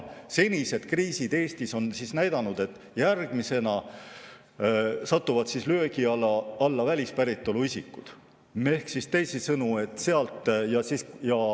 Senised kriisid Eestis on näidanud, et järgmisena satuvad löögi alla välispäritolu isikud.